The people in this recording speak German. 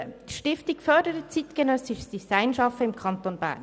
die Stiftung fördert zeitgenössisches Design-Schaffen im Kanton Bern.